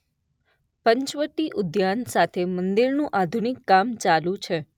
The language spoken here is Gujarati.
પંચવટી ઉઘાન સાથે મંદિરનું આઘુનિક કામ ચાલુ છે.